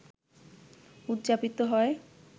উদযাপিত হয়